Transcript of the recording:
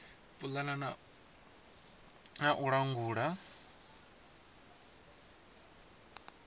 pulana na u langula dzithandela